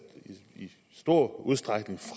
i stor udstrækning